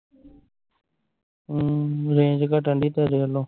ਅਮ range ਘਟਣ ਡਈ ਤੇਰੇ ਆਲੋਂ